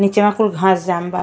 निचवा कुल घास जाम बा।